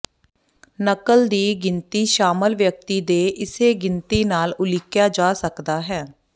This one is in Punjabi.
ਨਕਲ ਦੀ ਗਿਣਤੀ ਸ਼ਾਮਲ ਵਿਅਕਤੀ ਦੇ ਇਸੇ ਗਿਣਤੀ ਨਾਲ ਉਲੀਕਿਆ ਜਾ ਸਕਦਾ ਹੈ